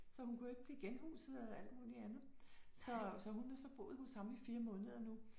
Så hun kunne ikke blive genhuset og alt muligt andet. Så så hun har så boet hos ham i fire måneder nu